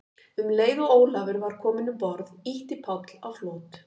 Um leið og Ólafur var kominn um borð, ýtti Páll á flot.